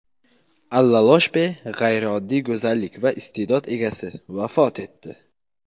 Alla Ioshpe – g‘ayrioddiy go‘zallik va iste’dod egasi vafot etdi.